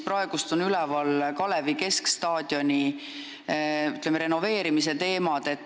Praegu on üleval Kalevi keskstaadioni, ütleme, renoveerimise teemad.